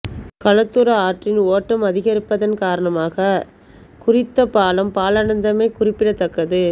கலத்துர ஆற்றின் ஓட்டம் அதிகரிப்பதன் காரணமாக குறித்த பாலம் பாழடைந்தமை குறிப்பிடத்தக்கது